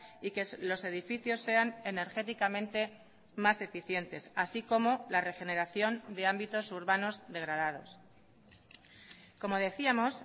y que los edificios sean energéticamente más eficientes así como la regeneración de ámbitos urbanos degradados como decíamos